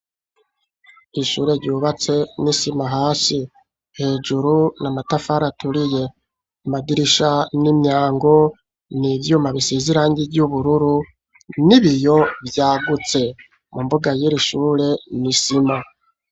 Ishure ryubatse n'isima hasi. Hejuru ni amatafari aturiye. Amadirisha n'imyango n'ivyuma biseze irangi ry'ubururu n'ibiyo vyagutse. Mu mbuga y'iri ishure ni isima.